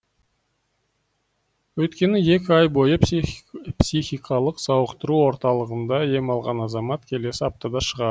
өйткені екі ай бойы психикалық сауықтыру орталығында ем алған азамат келесі аптада шығады